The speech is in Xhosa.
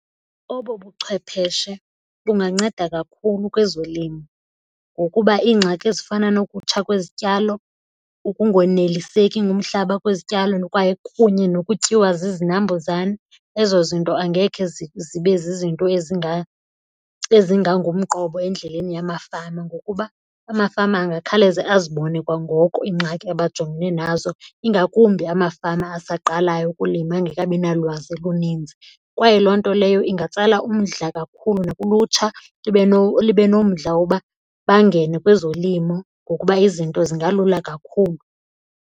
Obu buchwepheshe bunganceda kakhulu kwezolimo ngokuba iingxaki ezifana nokutsha kwezityalo, ukungoneliseki ngumhlaba kwezityalo kwaye kunye nokutyiwa zizinambuzane ezo zinto angekhe zibe zizinto ezingangumqobo endleleni yamafama. Ngokuba amafama angakhawuleza azibone kwangoko iingxaki abajongene nazo ingakumbi amafama asaqalayo ukulima engekabi nalwazi luninzi. Kwaye loo nto leyo ingatsala umdla kakhulu nakulutsha libe nomdla woba bangene kwezolimo ngokuba izinto zingalula kakhulu.